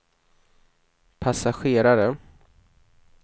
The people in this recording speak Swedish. passagerare